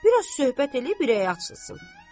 Bir az söhbət eləyib ürəyi açılsın.